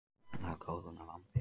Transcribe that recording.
Að kalóna vambir.